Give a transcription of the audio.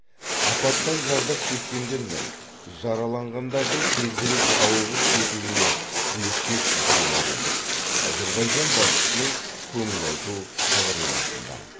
апаттан зардап шеккендер мен жараланғандардың тезірек сауығып кетуіне тілектеспіз делінген әзербайжан басшысының көңіл айту хабарламасында